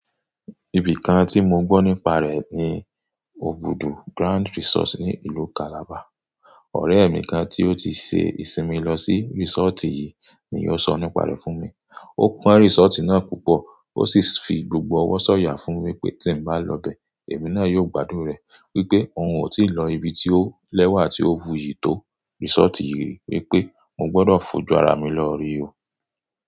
Ibi kan tí mo gbọ́ nípa rẹ̀ ni Óbùdù Grand Resort ní ìlú Calabar. Ọ̀rẹ́ mi kan tí ó ti ṣe ìsinmi lọ sí resort yìí ni ó sọ nípa rẹ̀ fún mi. Ó pọ́n resort náà púpọ̀ ó sì fi gbogbo ọwọ́ sọ̀yà fún wípé tí n bá lọ bẹ, èmi náà yóò gbádùn rẹ̀ wípé òun ò tíì lọ ibi tí ó lẹ́wà tí ó wuyí tó resort yìí wípé mo gbọdọ̀ fojú ara mi lọ rí i.